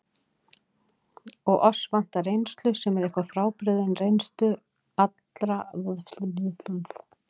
Og oss vantar reynslu, sem er eitthvað frábrugðin reynslu allra annarra.